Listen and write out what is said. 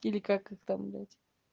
как это там блять